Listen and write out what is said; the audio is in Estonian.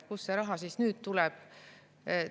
Kust see raha siis nüüd tuleb?